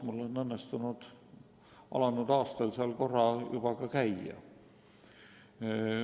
Mul on õnnestunud alanud aastal seal korra juba käia.